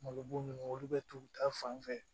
Malo bun olu bɛ t'u ta fan fɛ